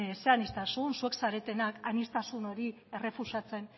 zer aniztasun zuek zaretenak aniztasun hori errefusatzen